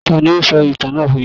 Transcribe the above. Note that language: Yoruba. Tání o sọ ìtàn náà fún yín?